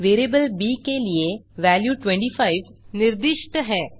variable ब के लिए वेल्यू 25 निर्दिष्ट है